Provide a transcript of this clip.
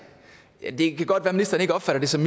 det kan godt være at ministeren opfatter det som